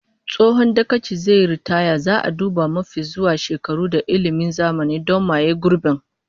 Tsohon dagacin zai yi ritaya, zaa duba mafi zuwa shekaru da ilmin zamani don maye gurbin